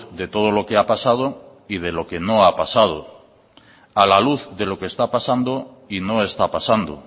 de todo lo que ha pasado y de lo que no ha pasado a la luz de lo que está pasando y no está pasando